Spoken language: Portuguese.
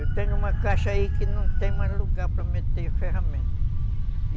Eu tenho uma caixa aí que não tem mais lugar para meter ferramenta.